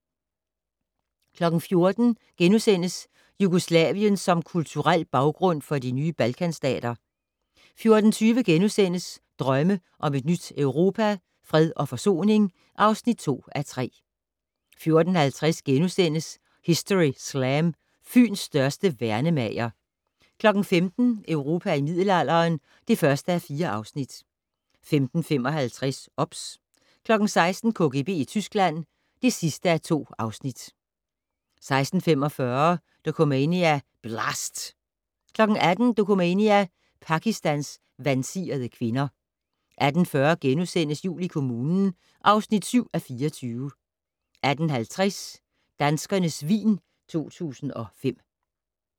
14:00: Jugoslavien som kulturel baggrund for de nye Balkanstater * 14:20: Drømme om et nyt Europa - Fred og forsoning (2:3)* 14:50: Historyslam - Fyns største værnemager * 15:00: Europa i middelalderen (1:4) 15:55: OBS 16:00: KGB i Tyskland (2:2) 16:45: Dokumania: Blast! 18:00: Dokumania: Pakistans vansirede kvinder 18:40: Jul i kommunen (7:24)* 18:50: Danskernes vin 2005